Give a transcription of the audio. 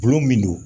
Gulɔ min don